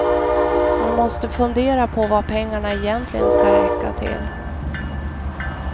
Man måste fundera på vad pengarna egentligen ska räcka till.